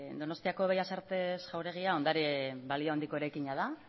donostiako bellas artes jauregia ondare balio handiko eraikina da